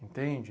Entende?